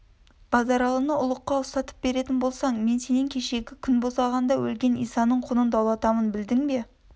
базаралыны ұлыкқа ұстатып беретін болсаң мен сенен кешегі күнбосағанда өлген исаның құнын даулатамын білдің бе